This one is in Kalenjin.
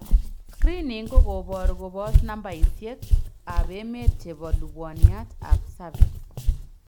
Screening kokoboor koboos nambaisiek ab meet chebo lubwaniat ab cervix